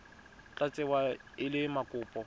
tla tsewa e le mokopa